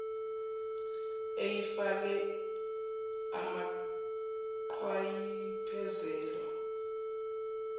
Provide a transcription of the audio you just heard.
eyayifakwe amaqhwa iphelezelwa